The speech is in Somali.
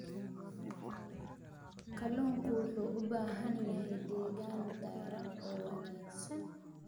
Kalluunku wuxuu u baahan yahay deegaan taran oo wanaagsan.